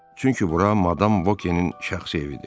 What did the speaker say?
Çünki bura Madam Vokinin şəxsi evidir.